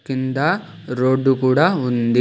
కింద రోడ్డు కూడా ఉంది.